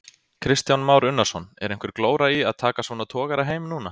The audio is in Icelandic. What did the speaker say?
Kristján Már Unnarsson: Er einhver glóra í að taka svona togara heim núna?